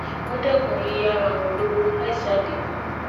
wọ́n dẹ́kun yíyá ara wọn lówó láì sí àdéhùn